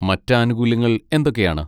മറ്റ് ആനുകൂല്യങ്ങൾ എന്തൊക്കെയാണ്?